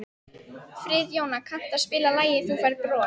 Friðjóna, kanntu að spila lagið „Þú Færð Bros“?